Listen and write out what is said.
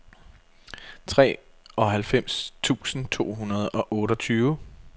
treoghalvfems tusind to hundrede og otteogtyve